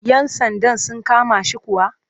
Yan sandan sun kama shi kuwa?